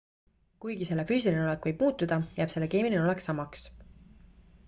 kuigi selle füüsiline olek võib muutuda jääb selle keemiline olek samaks